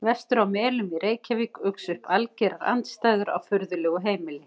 Vestur á Melum í Reykjavík uxu upp algerar andstæður á furðulegu heimili.